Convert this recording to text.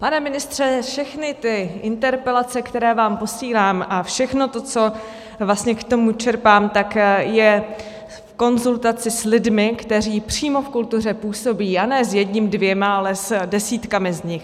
Pane ministře, všechny ty interpelace, které vám posílám, a všechno to, co vlastně k tomu čerpám, tak je v konzultaci s lidmi, kteří přímo v kultuře působí, a ne s jedním, dvěma, ale s desítkami z nich.